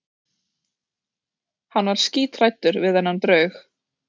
Hann var skíthræddur við þennan draug.